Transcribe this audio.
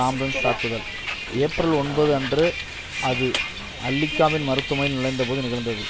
ambulance தாக்குதல் April ஒன்பது அன்று அது அல்லிகாவின் மருத்துவமனையில் நுழைந்த போது நிகழ்ந்தது